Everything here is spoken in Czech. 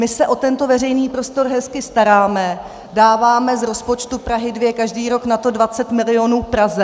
My se o tento veřejný prostor hezky staráme, dáváme z rozpočtu Prahy 2 každý rok na to 20 milionů Praze.